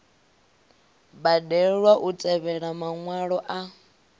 balelwa u tevhelela maṅwalwa a